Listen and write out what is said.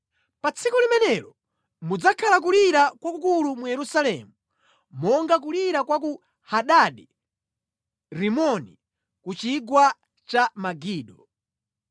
Pa tsiku limenelo mudzakhala kulira kwakukulu mu Yerusalemu, monga kulira kwa ku Hadadi-Rimoni ku chigwa cha Megido.